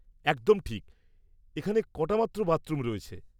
একদম ঠিক। এখানে কটামাত্র বাথরুম রয়েছে।